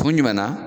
Kun jumɛn na